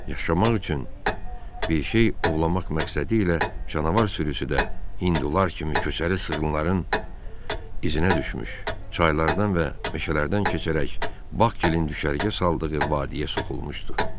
Yaşamaq üçün bir şey ovlamaq məqsədilə canavar sürüsü də hindular kimi köçəri sığınların iznə düşmüş, çaylardan və meşələrdən keçərək Bakın düşərgə saldığı vadiyə soxulmuşdu.